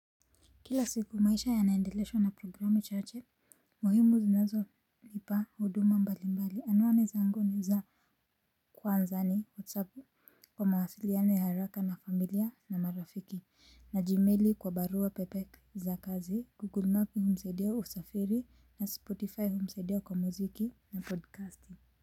Kila siku maisha yanaendeleshwa na programu chache, muhimu zinazonipa huduma mbalimbali, anuani zangu ni za kwanza ni, whatsappu, kwa mawasiliano ya haraka na familia na marafiki, na jimeli kwa barua pepe za kazi, google map hunisaidia usafiri na spotify hunisaidia kwa muziki na podcasti.